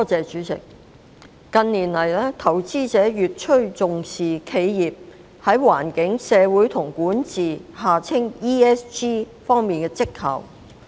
主席，近年，投資者越趨重視企業在"環境、社會及管治"方面的績效。